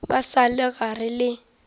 ba sa le gare le